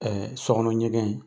sɔkɔnɔ ɲɛgɛn